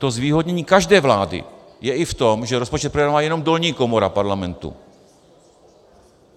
To zvýhodnění každé vlády je i v tom, že rozpočet projednává jenom dolní komora Parlamentu.